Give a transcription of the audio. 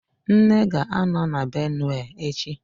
Nne ga-anọ na Benue echi